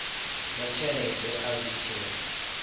zwa tshelede a zwi tshe